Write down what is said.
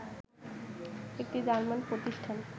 একটি জার্মান প্রতিষ্ঠান